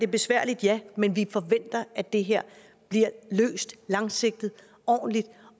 besværligt men vi forventer at det her bliver løst langsigtet ordentligt